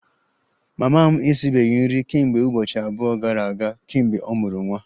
Mama m esibeghị nri kemgbe ụbọchị abụọ gara aga kemgbe ọ mụrụ nwa